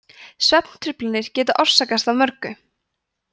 svefntruflanir geta orsakast af mörgu